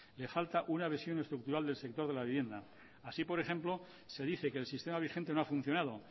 le falta una visión estructural del sector de la vivienda así por ejemplo se dice que el sistema vigente no ha funcionado